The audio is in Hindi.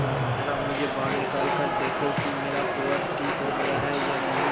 जरा मुझे बाहर निकाल कर देखो कि मेरा कुंवर ठीक हो गया है या नहीं